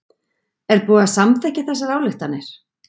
Er búið að samþykkja þessar ályktanir?